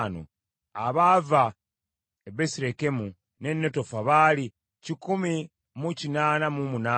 Abaava e Besirekemu n’e Netofa baali kikumi mu kinaana mu munaana (188),